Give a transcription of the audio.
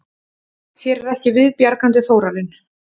Þér er ekki viðbjargandi, Þórarinn.